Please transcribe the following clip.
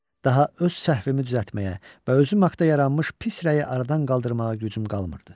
Daha öz səhvimi düzəltməyə və özüm haqda yaranmış pis rəyi aradan qaldırmağa gücüm qalmırdı.